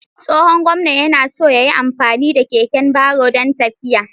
Tsohon gwamnan yana so ya yi amfani da keken baro don tafiya.